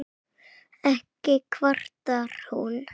Ekki kvartar hún